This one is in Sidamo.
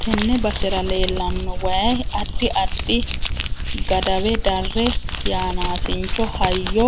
Tenne basera leelanno waayi addi addi gadawe darre yanaasicho hayyo